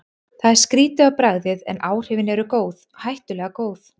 Það er skrýtið á bragðið, en áhrifin eru góð, hættulega góð.